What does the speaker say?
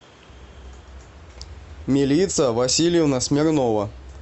милица васильевна смирнова